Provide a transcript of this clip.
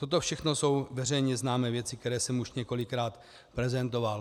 Toto všechno jsou veřejně známé věci, které jsem už několikrát prezentoval.